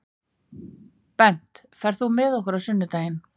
Bent, ferð þú með okkur á sunnudaginn?